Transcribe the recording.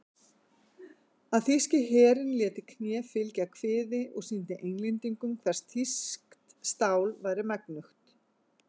Að þýski herinn léti kné fylgja kviði og sýndi Englendingum hvers þýskt stál væri megnugt.